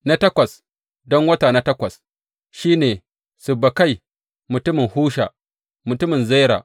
Na takwas, don wata na takwas, shi ne Sibbekai mutumin Husha, mutumin Zera.